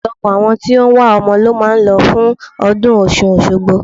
Ọ̀pọ̀lọpọ̀ àwọn tí ó wá ọmọ ló máa ń lọ fún ọdún Ọ̀ṣun Òṣogbo.